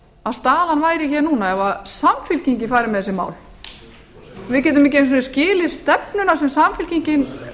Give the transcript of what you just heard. að staðan væri hér núna ef samfylkingin færi með þessi mál við getum ekki einu sinni skilið stefnuna sem samfylkingin